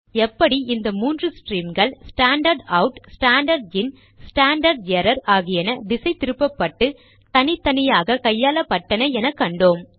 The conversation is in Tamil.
எப்படி இந்த மூன்று ஸ்ட்ரீம்கள் standard out standard in standard error ஆகியன திசை திருப்பப்பட்டு தனித்தனியாக கையாளப்பட்டன என கண்டோம்